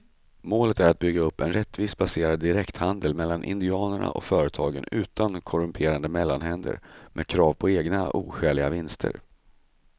Målet är att bygga upp en rättvist baserad direkthandel mellan indianerna och företagen utan korrumperade mellanhänder med krav på egna oskäliga vinster.